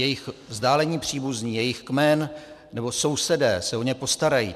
Jejich vzdálení příbuzní, jejich kmen nebo sousedé se o ně postarají.